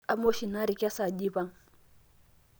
amaa oshi ina aarri kesaaja eipang'